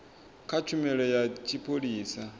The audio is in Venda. kha tshumelo ya tshipholisa ya